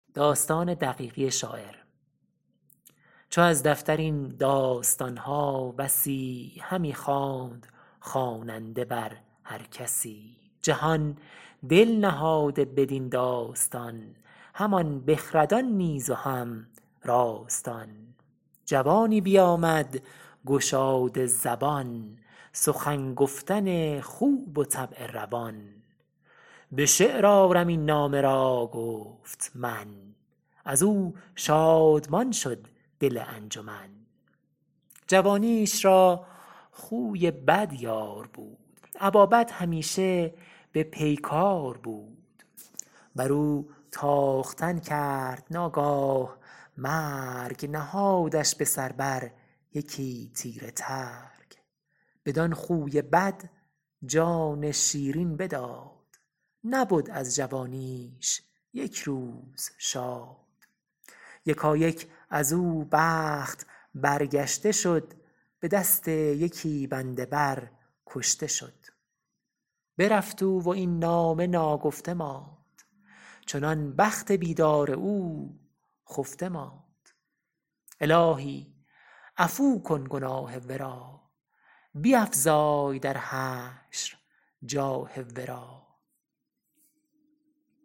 چو از دفتر این داستان ها بسی همی خواند خواننده بر هر کسی جهان دل نهاده بدین داستان همان بخردان نیز و هم راستان جوانی بیامد گشاده زبان سخن گفتن خوب و طبع روان به شعر آرم این نامه را گفت من از او شادمان شد دل انجمن جوانیش را خوی بد یار بود ابا بد همیشه به پیکار بود بر او تاختن کرد ناگاه مرگ نهادش به سر بر یکی تیره ترگ بدان خوی بد جان شیرین بداد نبد از جوانیش یک روز شاد یکایک از او بخت برگشته شد به دست یکی بنده بر کشته شد برفت او و این نامه ناگفته ماند چنان بخت بیدار او خفته ماند الهی عفو کن گناه ورا بیفزای در حشر جاه ورا